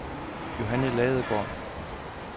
Johanne Ladegaard